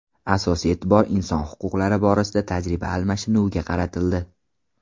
Asosiy e’tibor inson huquqlari borasida tajriba almashinuviga qaratildi.